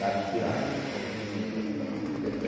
Daqui a água afoga tudinho que ela fica mais coberta.